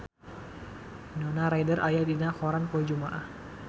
Winona Ryder aya dina koran poe Jumaah